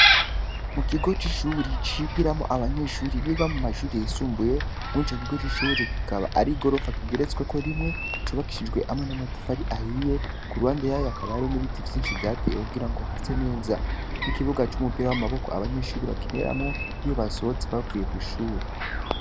Mu kigo c'ishuri, cigiramwo abanyeshuri biga mu mashuri yisumbuye, muri ico kigo c'ishuri, kikaba ari igorofa kigeretsweko rimwe, cubakishijwe hamwe n'amatafari ahiye, ku ruhande yayo hakaba hariyo n'ibiti vyinshi vyatewe, kugira ngo hase neza, n'ikibuga c'umupira w'amaboko, abanyeshuri bakiniramwo, iyo basohotse bavuye kw'ishuri.